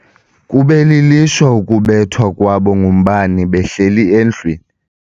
Kube lilishwa ukubethwa kwabo ngumbane behleli endlwini.